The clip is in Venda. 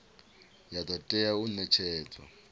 ya do tea u netshedzwa